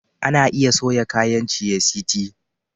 Ana iya soya kayan ciye-city